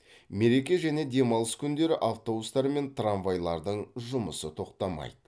мереке және демалыс күндері автобустар мен трамвайлардың жұмысы тоқтамайды